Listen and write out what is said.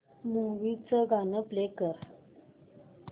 movie चं गाणं play कर